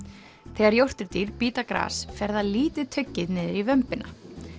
þegar jórturdýr bíta gras fer það lítið tuggið niður í vömbina